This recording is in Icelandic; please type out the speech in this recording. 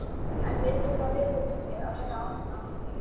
En veikir það liðið mikið að vera án hennar?